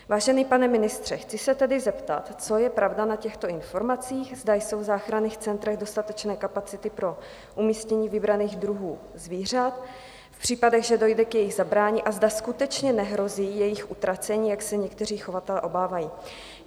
Vážený pane ministře, chci se tedy zeptat, co je pravda na těchto informacích, zda jsou v záchranných centrech dostatečné kapacity pro umístění vybraných druhů zvířat v případech, že dojde k jejich zabrání, a zda skutečně nehrozí jejich utracení, jak se někteří chovatelé obávají.